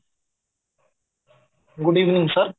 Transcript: good evening sir